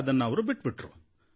ಅದನ್ನು ಬಿಟ್ಟುಬಿಟ್ರು